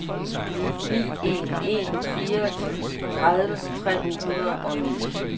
ni en en fire tredive tre hundrede og ni